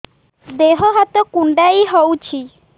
ଦେହ ହାତ କୁଣ୍ଡାଇ ହଉଛି